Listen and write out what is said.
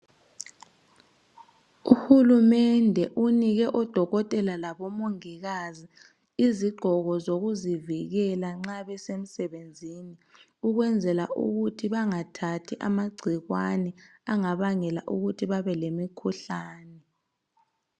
Uhulumende unike odokotela labo mongikazi izigqoko zokuzivikela nxa besemsebenzini ukwenzela ukuthi bangathathi amagcikwane angabangela ukuthi babelemikhuhlane.